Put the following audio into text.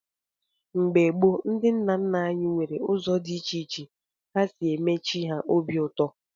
Mgbe gboo, ndị nna nna anyị were ụzọ dị iche iche ha si eme chi ha obi ụtọ.